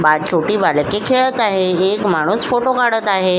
बाहेर छोटे बालके खेळत आहे एक माणूस फोटो काढत आहे.